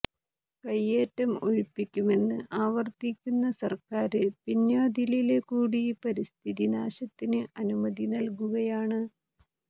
കയ്യേറ്റം ഒഴിപ്പിക്കുമെന്ന് ആവര്ത്തിക്കുന്ന സര്ക്കാര് പിന്വാതിലില് കൂടി പരിസ്ഥിതി നാശത്തിന് അനുമതി നല്കുകയാണ്